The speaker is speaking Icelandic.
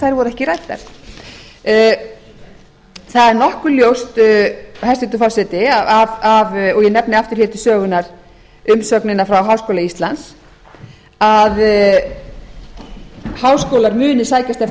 þær voru ekki ræddar það er nokkuð ljóst hæstvirtur forseti og ég nefni aftur hér til sögunnar umsögnina frá háskóla íslands að háskólar muni sækjast eftir